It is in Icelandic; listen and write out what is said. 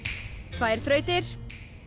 tvær þrautir